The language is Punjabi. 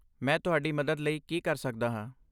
ਮੈਂ ਤੁਹਾਡੀ ਮਦਦ ਲਈ ਕੀ ਕਰ ਸਕਦਾ ਹਾਂ?